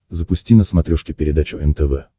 запусти на смотрешке передачу нтв